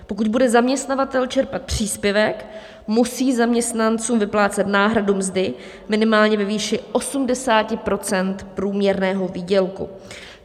Pokud bude zaměstnavatel čerpat příspěvek, musí zaměstnancům vyplácet náhradu mzdy minimálně ve výši 80 % průměrného výdělku.